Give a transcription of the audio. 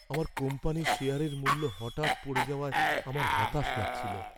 আমার কোম্পানির শেয়ারের মূল্য হঠাৎ পড়ে যাওয়ায় আমার হতাশ লাগছিল।